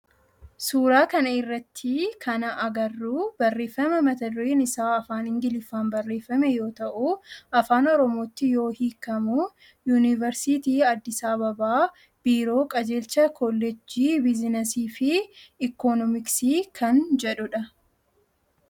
Suuraa kana irratti kana agarru barreeffama mata dureen isaa afaan ingiliffaan barreeffame yoo ta'u afaan oromootti yoo hiikkamu, yuuniversiitii Addis ababaa biiroo qajeelcha koolleejjii bizinasii fi ikonoomiksii kan jedhu dha